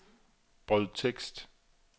brødtekst